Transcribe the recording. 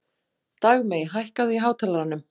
Dagmey, hækkaðu í hátalaranum.